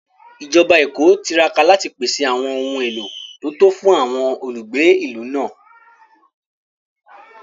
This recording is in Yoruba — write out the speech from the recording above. Ìjọba Èkó tiraka láti pèsè àwọn ohun èlò tó tó fún àwọn olùgbé ìlú náà